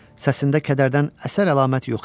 Səsində kədərdən əsər-əlamət yox idi.